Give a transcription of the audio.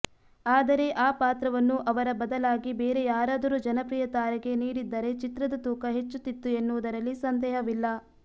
ಆದರೆ ಆ ಪಾತ್ರವನ್ನು ಅವರ ಬದಲಾಗಿ ಬೇರೆ ಯಾರಾದರೂ ಜನಪ್ರಿಯ ತಾರೆಗೆ ನೀಡಿದ್ದರೆ ಚಿತ್ರದ ತೂಕ ಹೆಚ್ಚುತ್ತಿತ್ತು ಎನ್ನುವುದರಲ್ಲಿ ಸಂದೇಹವಿಲ್ಲ